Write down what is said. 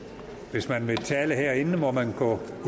hvis man vil tale herinde må man gå